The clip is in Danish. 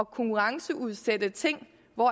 konkurrenceudsætte ting når